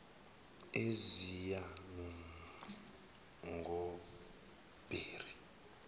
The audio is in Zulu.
eziyangobheri